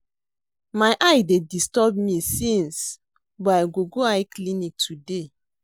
My eye dey disturb me since but I go go eye clinic today